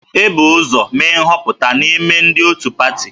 E bu ụzọ mee nhọpụta n'ime ndị otu pati